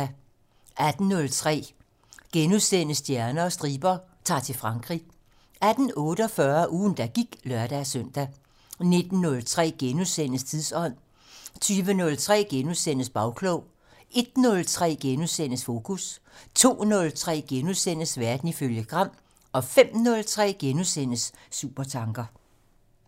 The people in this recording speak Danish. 18:03: Stjerner og striber - Ta'r til Frankrig * 18:48: Ugen der gik (lør-søn) 19:03: Tidsånd * 20:03: Bagklog * 01:03: Fokus * 02:03: Verden ifølge Gram * 05:03: Supertanker *